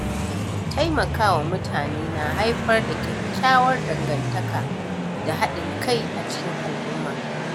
Taimakawa mutane na haifar da kyakkyawar dangantaka da haɗin kai a cikin al'umma